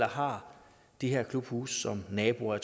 og har de her klubhuse som naboer og